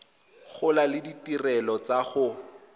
gola le ditirelo tsa go